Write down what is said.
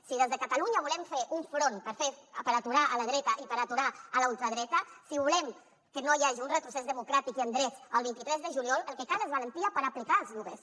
si des de catalunya volem fer un front per aturar la dreta i per aturar la ultradreta si volem que no hi hagi un retrocés democràtic i en drets el vint tres de juliol el que cal és valentia per aplicar els lloguers